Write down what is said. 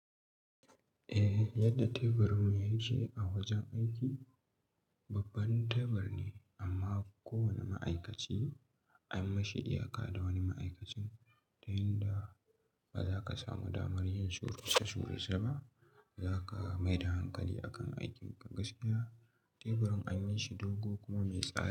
Eh yadda teburin mu ya ke a wajen aiki babban tebur ne amma ko wane ma'aikaci an mashi iya ka da wani ma'aikacin ta yin da ba za ka samu damar yin suruce suru ceba, ba za ka maida hankali akan aikin ka. Gaskiya teburin anyi shi dogo kuma mai tsada.